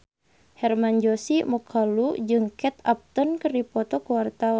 Hermann Josis Mokalu jeung Kate Upton keur dipoto ku wartawan